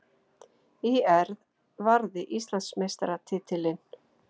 ÍR varði Íslandsmeistaratitilinn